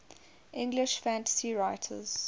english fantasy writers